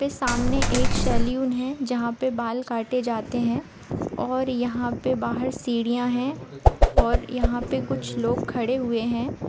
पे सामने एक शैलून है जहाँ पे बाल काटे जाते है और यहाँ पे बाहर सीढियां है और यहाँ पे कुछ लोग खड़े हुए है।